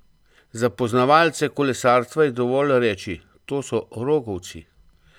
Za poznavalce kolesarstva je dovolj reči: "To so rogovci".